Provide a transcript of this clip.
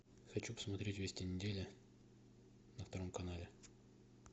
хочу посмотреть вести недели на втором канале